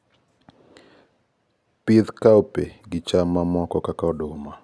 pith cowpea gicham mamoko kaka oduma